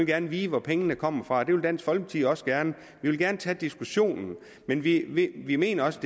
gerne vide hvor pengene kommer fra det vil dansk folkeparti også gerne vi vil gerne tage diskussionen men vi vi mener også